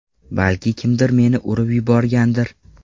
Balki kimdir meni urib yuborgandir.